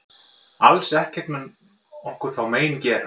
Alls ekkert mun okkur þá mein gera.